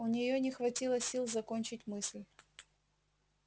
у нее не хватило сил закончить мысль